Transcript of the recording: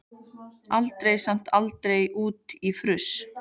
Aldrei samt alveg út í fruss.